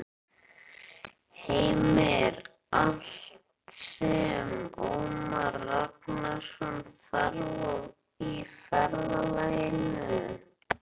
Heimir: Allt sem Ómar Ragnarsson þarf á ferðalaginu?